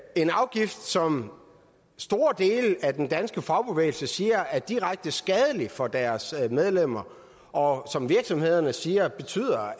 er en afgift som store dele af den danske fagbevægelse siger er direkte skadelig for deres medlemmer og som virksomhederne siger betyder